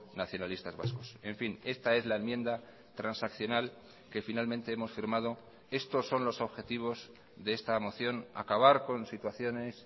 nacionalistas vascos en fin esta es la enmienda transaccional que finalmente hemos firmado estos son los objetivos de esta moción acabar con situaciones